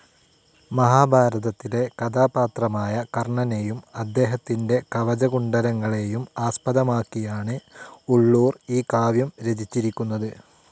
മഹാഭാരതത്തിലെ കഥാപാത്രമായ കർണനേയും അദ്ദേഹത്തിൻ്റെ കവചകുണ്ഡലങ്ങളെയും ആസ്പദമാക്കിയാണ് ഉളളൂർ ഈ കാവ്യം രചിച്ചിരിക്കുന്നത്.